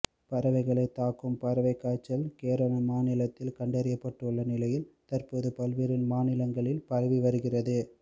பறவைகளைத் தாக்கும் பறவைக் காய்ச்சல் கேரள மாநிலத்தில் கண்டறியப்பட்டுள்ள நிலையில் தற்போது பல்வேறு மாநிலங்களில் பரவி வருகிறது